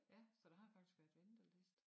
Ja så der har faktisk været venteliste